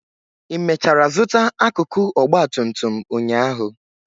ị mechara zụta akụkụ ọgba tum tum ụnyaahụ?